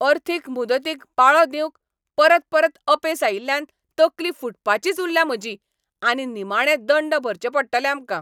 अर्थीक मुदतीक पाळो दिवंक परत परत अपेस आयिल्ल्यान तकली फुटपाचीच उरल्या म्हजी आनी निमाणें दंड भरचे पडटले आमकां.